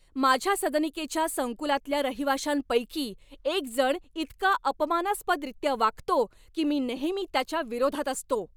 माझ्या सदनिकेच्या संकुलातल्या रहिवाशांपैकी एक जण इतका अपमानास्पदरीत्या वागतो, की मी नेहमी त्याच्या विरोधात असतो.